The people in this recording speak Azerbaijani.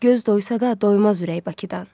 Göz doysa da doymaz ürək Bakıdan.